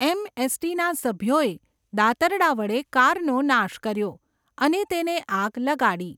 એમએસટીના સભ્યોએ દાતરડાં વડે કારનો નાશ કર્યો, અને તેને આગ લગાડી.